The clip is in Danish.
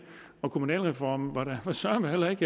kommunalreformen var søreme heller ikke